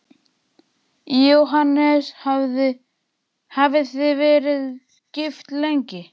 Jóhannes: Hafið þið verið gift lengi?